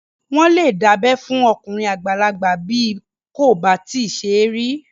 Wọ́n lè dábẹ́ fún okùnrin àgbàlagbà bí kò bá tíì ṣe rí